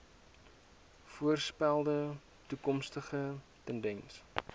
voorspelde toekomstige tendense